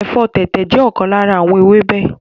Ẹ̀fọ́ tẹ̀tẹ̀ jẹ́ ọ̀kan lára àwọn ewébẹ̀